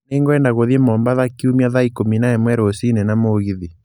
Nĩ ngwenda gũthiĩ mombatha kiũmia thaa ikũmi na ĩmwe rũcinĩ na mũgĩthĩ